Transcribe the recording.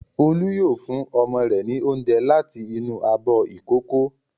Olú yóò fún ọmọ rẹ̀ ní oúnjẹ láti inú abọ́ ìkókó.